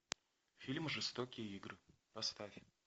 фильм жестокие игры поставь